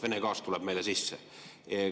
Vene gaas tuleb meile sisse.